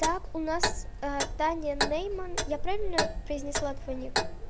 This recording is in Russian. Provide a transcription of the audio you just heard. так у нас таня ээ нейман я правильно произнесла твой ник